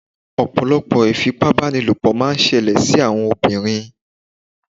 Ọ̀pọ̀lọpọ̀ ìfipábánilò máà ń ṣẹlẹ̀ sí àwọn obìnrin.